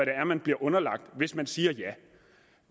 er man bliver underlagt hvis man siger ja